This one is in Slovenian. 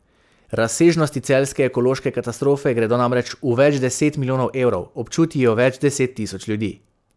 Razsežnosti celjske ekološke katastrofe gredo namreč v več deset milijonov evrov, občuti jo več deset tisoč ljudi.